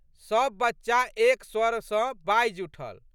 सब बच्चा एक स्वर सँ बाजि उठल।